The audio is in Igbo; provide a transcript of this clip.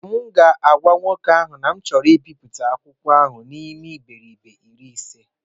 M ga-agwa nwoke ahụ na achọrọ m ibipụta akwụkwọ ahụ n'ime iberibe iri ise